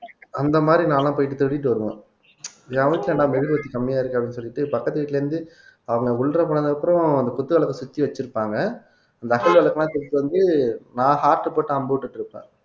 அந்த மாதிரி நான்லாம் போயிட்டு திருடிட்டு வருவோம் மெழுகுவர்த்தி கம்மியா இருக்கு அப்படின்னு சொல்லிட்டு பக்கத்து வீட்ல இருந்து அவங்க உள்ளற போனதுக்கு அப்புறம் அந்த குத்து விளக்கை சுத்தி வச்சிருப்பாங்க அந்த அகல் விளக்குலாம் தூக்கிட்டு வந்து நான் heart போட்டு அம்பு விட்டுட்டு இருப்பேன்